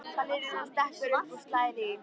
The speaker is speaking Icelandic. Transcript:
Ballerínan stekkur upp og slær í.